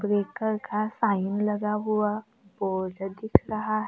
breaker का sign लगा हुआ बोर्ड दिख रहा--